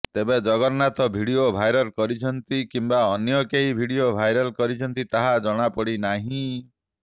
ତେବେ Jagannath video viral କରିଛନ୍ତି କିମ୍ବା ଅନ୍ୟ କେହି ଭିଡିଓ ଭାଇରାଲ କରିଛନ୍ତି ତାହା ଜଣାପଡ଼ି ନାହିଁ